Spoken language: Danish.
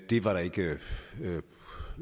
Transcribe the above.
det var der ikke